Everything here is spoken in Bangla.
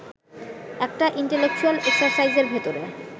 একটা ইন্টেলেকচুয়াল এক্সারসাইজের ভেতরে